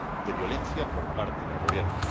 de violencia por parte del Gobierno.